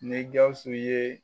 Ni GAWUSU ye.